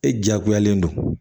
E jagoyalen don